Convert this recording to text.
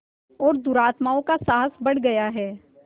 और दुरात्माओं का साहस बढ़ गया है